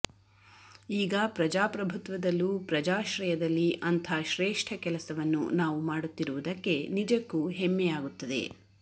ಈಗ ಪ್ರಜಾಪ್ರಭುತ್ವದಲ್ಲೂ ಪ್ರಜಾಶ್ರಯದಲ್ಲಿ ಅಂಥ ಶ್ರೇಷ್ಠ ಕೆಲಸವನ್ನು ನಾವು ಮಾಡುತ್ತಿರುವುದಕ್ಕೆ ನಿಜಕ್ಕೂ ಹೆಮ್ಮೆಯಾಗುತ್ತದೆ